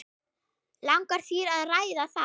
Langar þér að ræða það?